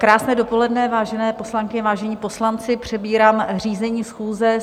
Krásné dopoledne, vážené poslankyně, vážení poslanci, přebírám řízení schůze.